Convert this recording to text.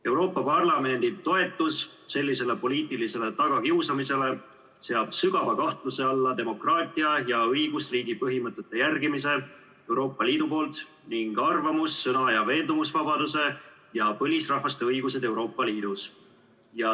Euroopa Parlamendi toetus sellisele poliitilisele tagakiusamisele seab sügava kahtluse alla demokraatia ja õigusriigi põhimõtete järgimise ning arvamus-, sõna- ja veendumusvabaduse ja põlisrahvaste õiguste kaitse Euroopa Liidus.